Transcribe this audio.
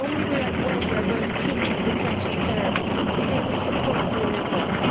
The only way we are going to keep these essential carers is if we support them in their work.